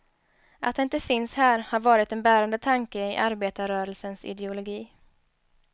Att det inte finns här har varit en bärande tanke i arbetarrörelsens ideologi.